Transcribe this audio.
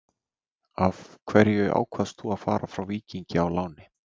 Af hverju ákvaðst þú að fara frá Víking á láni?